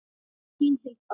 Þín Hilda.